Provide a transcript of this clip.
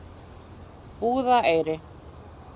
Búðareyri